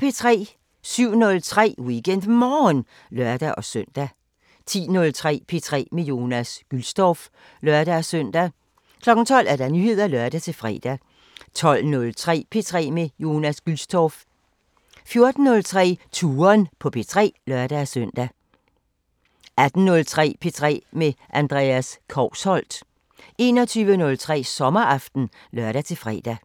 07:03: WeekendMorgen (lør-søn) 10:03: P3 med Jonas Gülstorff (lør-søn) 12:00: Nyheder (lør-fre) 12:03: P3 med Jonas Gülstorff 14:03: Touren på P3 (lør-søn) 18:03: P3 med Andreas Kousholt 21:03: Sommeraften (lør-fre)